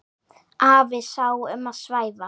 Afi sá um að svæfa.